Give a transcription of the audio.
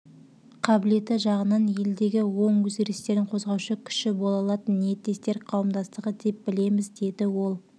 премьер-министрдің айтуынша жоғарыда аталған еліміздің мың азаматын тұрақты жұмыспен қамтып отыр нұрлыбек досыбай егемен қазақстан қоюшы